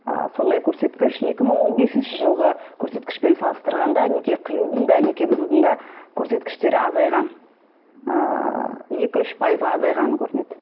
ы сондай көрсеткіш екі мың он бесінші жылғы көрсеткішпен салыстырғанда неке қиюдың да неке бұзудың да көрсеткіштері азайған ыыы екі үш пайызға азайғаны көрінеді